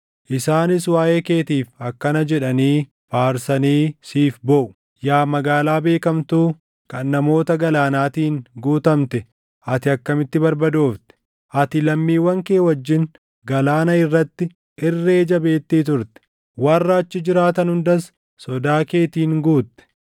Isaanis waaʼee keetiif akkana jedhanii faarsanii siif booʼu: “ ‘Yaa magaalaa beekamtuu, kan namoota galaanaatiin guutamte ati akkamitti barbadoofte! Ati lammiiwwan kee wajjin galaana irratti irree jabeettii turte; warra achi jiraatan hundas sodaa keetiin guutte.